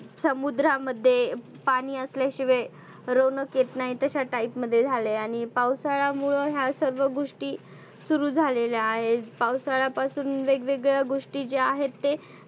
समुद्रामध्ये पाणि असल्या शिवाय रोनक येत नाही. तश्या type मध्ये झाले. आणि पावसाळ्यामुळ ह्यासर्व गोष्टी सुरु झालेल्या आहेत. पावसाळ्या पासुन वेग वेगळ गोष्टी ज्या आहेत ते